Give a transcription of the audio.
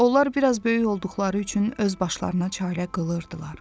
Onlar biraz böyük olduqları üçün öz başlarına çarə qılırdılar.